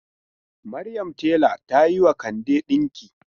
Maryam tela ta yi wa Kande dinki.